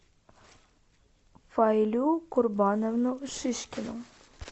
фаилю курбановну шишкину